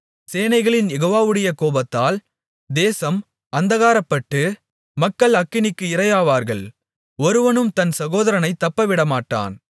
சேனைகளின் யெகோவாவுடைய கோபத்தால் தேசம் அந்தகாரப்பட்டு மக்கள் அக்கினிக்கு இரையாவார்கள் ஒருவனும் தன் சகோதரனைத் தப்பவிடமாட்டான்